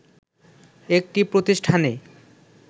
একটি প্রতিষ্ঠানে